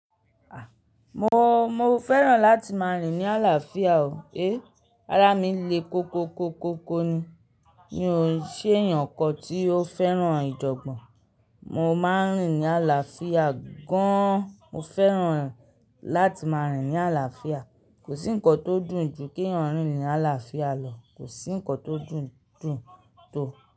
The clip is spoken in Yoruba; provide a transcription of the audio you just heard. Ah Mo, mo fẹ́ràn láti máa rìn ní àlàáfíà o. Ará mi le koko koko ni. Mi ó ṣe èyàn kan tí ó fẹ́ràn ìjọ́gbọ̀n. Mo máa ń rìn ní àlàáfíà gan an. Mo fẹ́ràn láti máa rìn ní àlàáfíà. Kò sí ǹkan tó dùn ju kẹ̀yan rìn ní àlàáfíà lọ. Kò sí ǹkan tó dùn, dùn tó.